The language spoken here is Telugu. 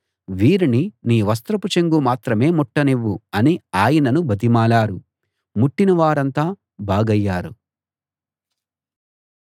వీరిని నీ వస్త్రపు చెంగు మాత్రమే ముట్టనివ్వు అని ఆయనను బతిమాలారు ముట్టిన వారంతా బాగయ్యారు